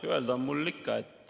Öelda on mul ikka.